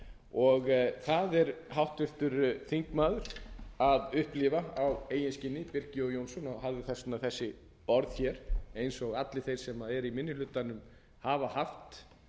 núna það er háttvirtur þingmaður birkir jón jónsson að upplifa á eigin skinni birkir jón jónsson og hafði þess vegna þessi orð hér eins og allir þeir sem eru í minni hlutanum hafa haft